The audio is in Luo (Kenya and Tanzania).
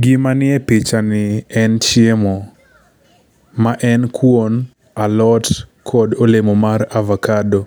Gima nie pichani en chiemo. Maen kuon, alot kod olemo mar avokado.